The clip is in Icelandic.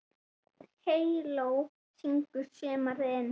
Það var mikil sorg.